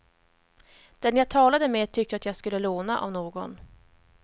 Den jag talade med tyckte att jag skulle låna av någon.